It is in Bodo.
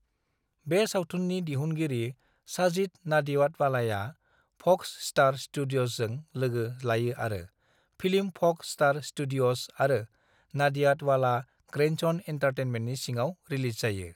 बे सावथुननि दिहुनगिरि साजिद नाडियाडवालाया फ'क्स स्टार स्टूडिय'जजों लोगो लायो आरो फिल्म फ'क्स स्टार स्टूडिय'ज आरो नाडियाडवाला ग्रैंडसन एन्टारटेनमेंटनि सिङाव रिलीज जायो।